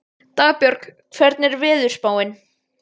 Dagbjörg, hvernig er veðurspáin?